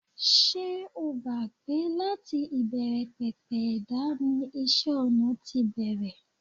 Ṣé o gbà pé láti ìbẹ̀rẹ̀pẹ̀pẹ̀ ẹ̀dá ni isẹ́-ọnà ti bẹ̀rẹ̀?